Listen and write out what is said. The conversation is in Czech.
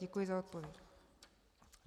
Děkuji za odpověď.